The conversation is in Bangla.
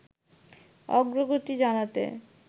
অগ্রগতি জানাতে